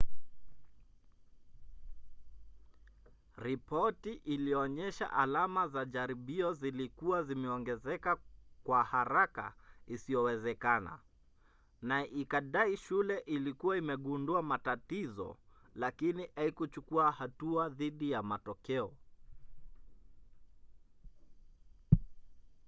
ripoti ilionyesha alama za jaribio zilikuwa zimeongezeka kwa haraka isiyowezekana na ikadai shule ilikuwa imegundua matatizo lakini haikuchukua hatua dhidi ya matokeo